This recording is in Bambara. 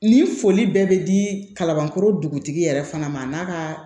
Ni foli bɛɛ bɛ di kalabankɔrɔ dugutigi yɛrɛ fana ma a n'a kaa